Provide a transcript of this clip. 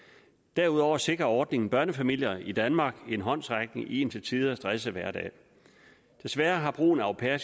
derudover sikrer ordningen børnefamilier i danmark en håndsrækning i en til tider stresset hverdag desværre har brugen af au pairer